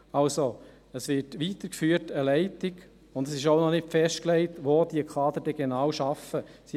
Es wird also eine Leitung weitergeführt, und es ist auch noch nicht festgelegt, wo diese Kader dann genau arbeiten werden.